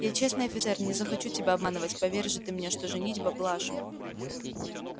я честный офицер не захочу тебя обманывать поверь же ты мне что женитьба блажь